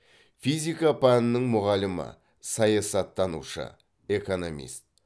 физика пәнінің мұғалімі саясаттанушы экономист